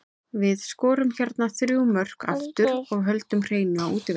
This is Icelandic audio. Við skorum hérna þrjú mörk aftur og við höldum hreinu á útivelli.